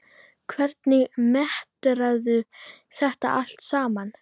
Hvernig meturðu þetta allt saman?